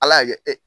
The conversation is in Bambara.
Ala y'a kɛ e